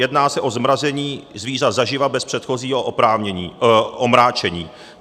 Jedná se o zmrazení zvířat zaživa bez předchozího omráčení.